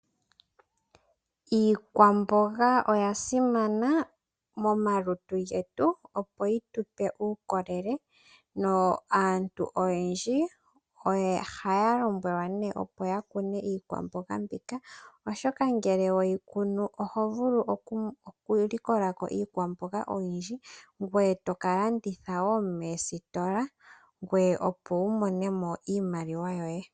Iikwamboga oya simana momalutu getu, opo yi tu pe uukolele. Aantu oyendji ohaya lombwelwa ya kune iikwamboga mbika, oshoka ngele weyi kunu oho vulu oku likola ko iikwamboga oyindji ngoye toka landitha wo moositola, ngoye opo wu mone mo iimaliwa yoye.